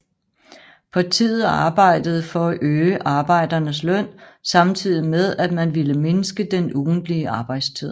Partiet arbejdede for at øge arbejdernes løn samtidig med at man ville mindske den ugentlige arbejdstid